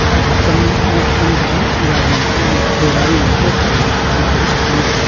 aga kam angoih kam thega gadi godano kawthralo chanpa kam thega.